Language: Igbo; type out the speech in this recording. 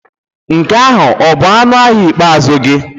Nke ahụ ọ bụ ọnụ ahịa ikpeazụ gị?